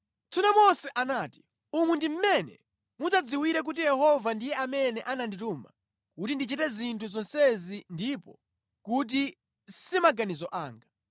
Tsono Mose anati, “Umu ndi mmene mudzadziwire kuti Yehova ndiye amene anandituma kuti ndichite zinthu zonsezi ndipo kuti si maganizo anga.